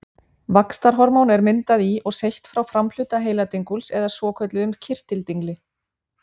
Vaxtarhormón er myndað í og seytt frá framhluta heiladinguls eða svokölluðum kirtildingli.